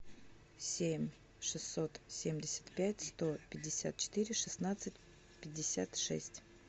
семь шестьсот семьдесят пять сто пятьдесят четыре шестнадцать пятьдесят шесть